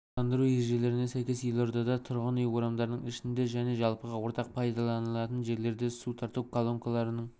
абаттандыру ережелеріне сәйкес елордада тұрғын үй орамдарының ішінде және жалпыға ортақ пайдаланылатын жерлерде су тарту колонкаларының